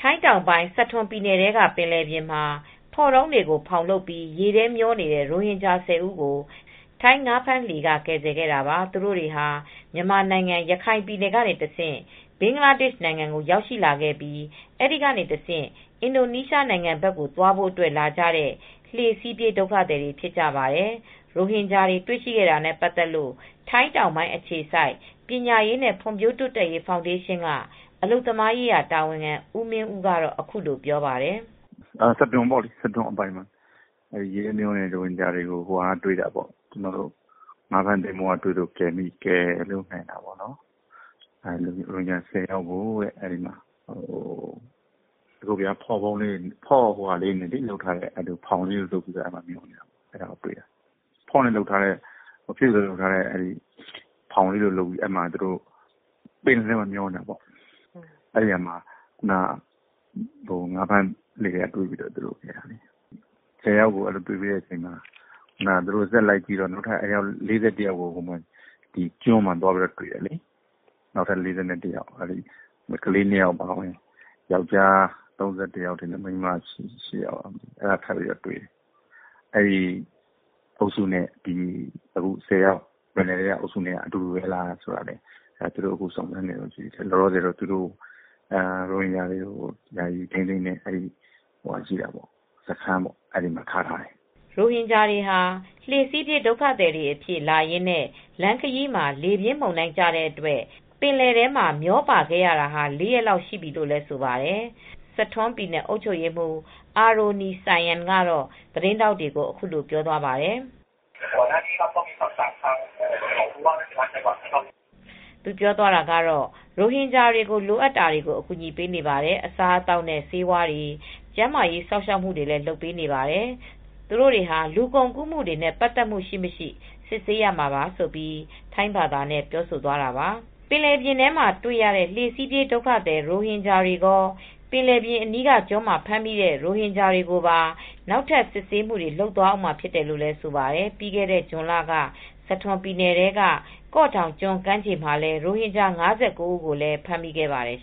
ုင်းတောင်ပိုင်း Satun ပြည်နယ်ထဲက ပင်လယ်ပြင်မှာ ဖော့တုံးတွေကို ဖောင်လုပ်ပြီး ရေထဲမျောနေတဲ့ ရိုဟင်ဂျာ ၁၀ ဦးကို ထိုင်းငါးဖမ်းလှေ က ကယ်ဆယ်ခဲ့တာပါ။ သူတိုတွေဟာ မြန်မာနိုင်ငံ ရခိုင်ပြည်နယ်ကနေတဆင့် ဘင်္ဂလားဒေရှ်နိုင်ငံကို ရောက်ရှိလာခဲ့ပြီး အဲဒီကတဆင့် အင်ဒိုနီးရှားနိုင်ငံ ဘက်ကိုသွားဖို့အတွက် လာကြတဲ့ လှေစီးပြေး ဒုက္ခသည်တွေ ဖြစ်ကြပါတယ်။ ရိုဟင်ဂျာတွေ တွေ့ရှိခဲ့တာနဲ့ ပတ်သက်လို့ ထိုင်းတောင်ပိုင်း အခြေစိုက် ပညာရေးနဲ့ ဖွံဖြိုးတိုးတက်ရေး ဖောင်ဒေးရှင်း က အလုပ်သမားရေးရာတာဝန်ခံ ဦးမင်းဦး က အခုလိုပြောပါတယ်။ " စထွန်အပိုင်မှာ ရိုဟင်ဂျာတွေကို ငါးဖမ်းသင်္ဘော က တွေ့ လို့ကယ်ထုတ်နိုင်တာ ရိုဟင်ဂျာ ၁၀ ယောက်က ဖော့တုံးလေးတွေ နဲ့ ဖောင်လေးတွေ ဖြစ်သလို လုပ်ထားတဲ့ ဟာလေးတွေနဲ့ ဖောင်လိုဟာလေးတွေနဲ့ တွေ့တာ။ ပင်လယ်ပြင်မှာ မျောနေတာပေါ့ ။ ငါးဖမ်းလှေက တွေ့ပြီး ကယ်ထုတ်တာ ၁၀ယောက်ကို တွေ့ပြီးနောက် ဆက်ရှာတော့ နောက်ထပ် ၄၁ယောက်ကို ကျွန်းမှာတွေ့တယ် ။ ထပ်တွေ့တယ်။ နောက်ထပ် ၄၁ယောက်က ကလေး၂ယောက် အပါအဝင် ယောက်ကျားက ၃၁ယောက်။ မိန်းမက ၈ယောက် ထပ်ပြီးတွေ့တယ်။ အဲဒီ အုပ်စုနဲ့ ပင်လယ်ထဲက ၁၀ယောက်က အတူတူပဲလားဆိုတာ ထပ်ပြီ းစုံစမ်းစစ်ဆေးနေတယ်။ လောလောဆယ်တော့ ရိုဟင်ဂျာတွေကို ယာယီထိမ်းသိမ်းထားတဲ့ စခန်းမှာပဲ သူတို့ကိုထားတယ်" ရိုဟင်ဂျာတွေ ဟာ လှေစီးပြေး ဒုက္ခသည်တွေအဖြစ် လာရင်းနဲ့ လမ်းခရီးမှာ လေပြင်းမုန်တိုင်းကျတဲ့အတွက် ပင်လယ်ထဲမှာ မျောပါခဲ့ရတာ ၄ရက်လောက်ရှိပြီ လို့လည်းဆိုပါတယ်။ စထွန်းပြည်နယ် အုပ်ချုပ်ရေးမှူး အာရိုနီဆိုင်းယန် ကတော့ သတင်းထောက်တွေကို အခုလို ပြောသွားပါတယ် ။ " သူတို့တွေကို ရိုဟင်ဂျာတွေ ကို လိုအပ်တာတွေ အကူညီပေးနေပါတယ် ။ အစားအသောက်နဲ့ ဆေးဝါးတွေ ကျန်းမာရေး စောင့်ရှောက်မူတွေ လုပ်ပေးနေပါတယ်။ သူတို့တွေဟာ လူကုန်ကူးမူတွေ ပတ်သက်မူ့ ရှိမရှိကို စစ်ဆေးရမှာပါ " ဆိုပြီး ထိုင်းဘာသာနဲ့ ပြောသွားခဲ့တာပါ ။ ပင်လယ်ပြင်မှာ တွေ့ရတဲ့လှေစီးပြေး ဒုက္ခသည် ရိုဟင်ဂျာတွေကော၊ ပင်လယ်ပြင်းအနီးကျွန်းမှာ ဖမ်းမိတဲ့ ရိုဟင်ဂျာတွေကိုပါ နောက်ထပ်စစ်ဆေးမူတွေ လုပ်သွားအုန်းမှာ ဖြစ်တယ်လို့ ဆိုပါတယ် ။ ပြီးခဲ့တဲ့ ဇွန်လက စထွန်ပြည်နယ်ထဲ က ကော့ဒေါင်ကျွန်း ကမ်းခြေမှာလည်း ရိုဟင်ဂျာ ၅၉ဦး ကို လည်း ဖမ်းမိခဲ့ပါတယ်